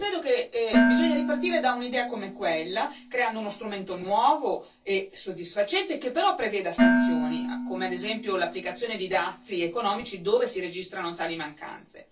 Io credo che bisogni ripartire da un'idea come quella, creando uno strumento nuovo e soddisfacente che, però, preveda sanzioni, come ad esempio l'applicazione di dazi economici dove si registrano tali mancanze.